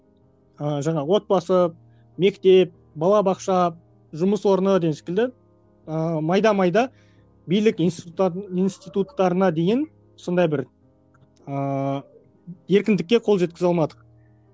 ыыы жаңағы отбасы мектеп бала бақша жұмыс орны деген секілді ыыы майда майда билік институттарын институттарына дейін сондай бір ыыы еркіндікке қол жеткізе алмадық